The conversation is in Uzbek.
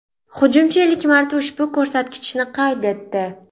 Hujumchi ilk marta ushbu ko‘rsatkichni qayd etdi .